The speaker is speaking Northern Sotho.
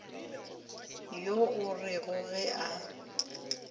yo o rego ge o